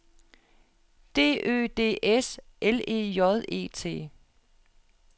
D Ø D S L E J E T